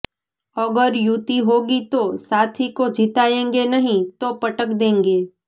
અગર યુતિ હોગી તો સાથી કો જિતાએંગે નહીં તો પટક દેંગે